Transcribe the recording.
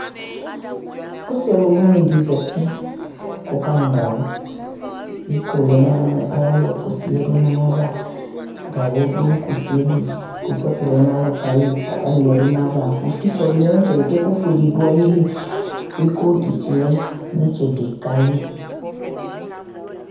Ɔsi ɔluwini di zati kɔkanu gawu Iko lɛ nu ayalɔ kusi duava gawu du kusili Kropɔt lɛ nalɔ kayi pani du ayava Kusitsɔ dilɛ nitsɛdi kɛku fue didu ayili iko fi lɛ nitsɛdi kayi